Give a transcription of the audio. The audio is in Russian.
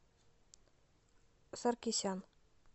саркисян